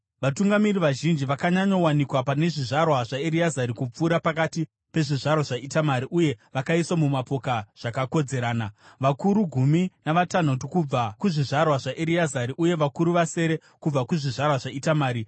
Vatungamiri vazhinji vakanyanyowanikwa pane zvizvarwa zvaEreazari kupfuura pakati pezvizvarwa zvaItamari uye vakaiswa mumapoka zvakakodzerana: vakuru gumi navatanhatu kubva kuzvizvarwa zvaEreazari uye vakuru vasere kubva kuzvizvarwa zvaItamari.